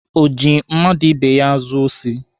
O ji mmadụ ibe ya zuo osi?